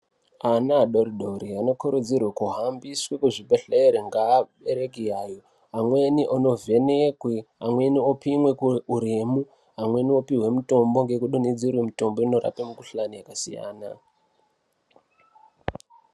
Ana adori-dori anokurudzirwe kuhambiswe kuzvibhedhlere ngeabereki yayo. Amweni anovhenekwe. amweni opimwe uremu, amweni vopihwe mutombo ngekudonhedzerwe mitombo inorape mikuhlani yakasiyana.